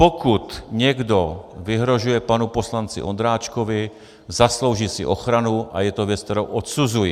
Pokud někdo vyhrožuje panu poslanci Ondráčkovi, zaslouží si ochranu a je to věc, kterou odsuzuji.